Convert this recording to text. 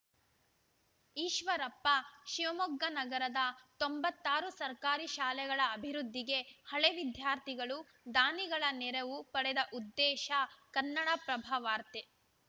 ಈಶ್ವರಪ್ಪ ಶಿವಮೊಗ್ಗ ನಗರದ ತೊಂಬತ್ತ್ ಆರು ಸರ್ಕಾರಿ ಶಾಲೆಗಳ ಅಭಿವೃದ್ಧಿಗೆ ಹಳೆ ವಿದ್ಯಾರ್ಥಿಗಳು ದಾನಿಗಳ ನೆರವು ಪಡೆವ ಉದ್ದೇಶ ಕನ್ನಡಪ್ರಭ ವಾರ್ತೆ